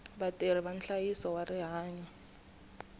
vatirhi va nhlayiso wa rihanyo